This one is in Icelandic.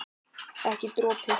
Ekki dropi.